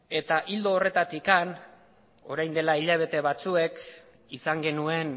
ildo horretatik orain dela hilabete batzuk izan genuen